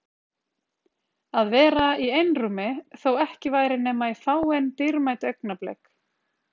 Að vera í einrúmi- þó ekki væri nema í fáein dýrmæt augnablik.